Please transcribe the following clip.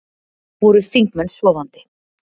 Voru þingmenn sofandi